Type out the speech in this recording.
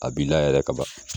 A b'i la yɛrɛ kaban